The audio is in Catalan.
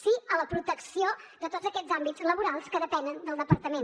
sí a la protecció de tots aquests àmbits laborals que depenen del departament